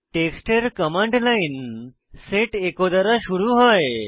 টেক্সটের command line set echo দ্বারা শুরু হয়